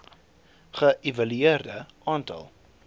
ge evalueer aantal